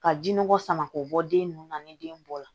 Ka jinɔgɔ sama k'o bɔ den ninnu na ni den bɔ la